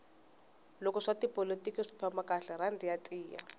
loko swa tipolotiki swi famba kahle rhandi ya tiya